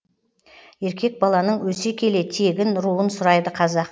еркек баланың өсе келе тегін руын сұрайды қазақ